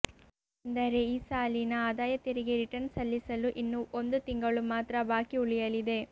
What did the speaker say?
ಏಕೆಂದರೆ ಈ ಸಾಲಿನ ಆದಾಯ ತೆರಿಗೆ ರಿಟರ್ನ್ಸ್ ಸಲ್ಲಿಸಲು ಇನ್ನು ಒಂದು ತಿಂಗಳು ಮಾತ್ರ ಬಾಕಿ ಉಳಿಯಲಿದೆ